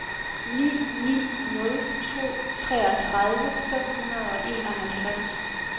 ni ni nul to treogtredive fem hundrede og enoghalvtreds